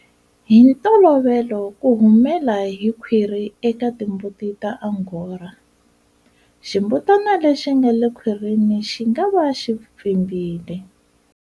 Hi ntolovelo ku humela hi khwiri eka timbuti ta Angora, ximbutana lexi nga le khwirini xi nga va xi pfimbile.